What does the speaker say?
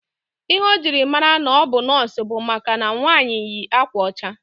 Ihe ojiri mara na ọbu nọọsụ bu maka na nwaanyi yi akwa ocha.